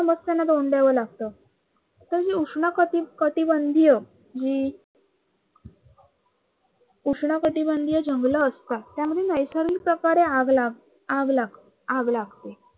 समस्यांना तोंड द्याव लागतं. तर ही उष्ण कटी कटिबंधीय जी उष्ण कटिबंधीय जंगल असतात त्यामुळे नैसर्गिक प्रकारे आग लाग आग लागते.